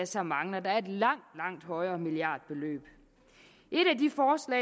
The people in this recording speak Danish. så mangler der et langt langt højere milliardbeløb